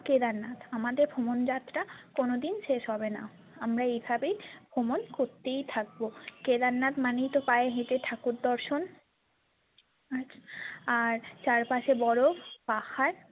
কেদারনাথ আমাদের ভ্রমণযাত্রা কোনোদিন শেষ হবেনা আমরা এইভাবেই ভ্রমণ করতেই থাকবো কেদারনাথ মানেই তো পায়ে হেঁটে ঠাকুর দর্শন আর চারপাশে বরফ পাহাড়।